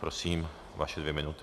Prosím, vaše dvě minuty.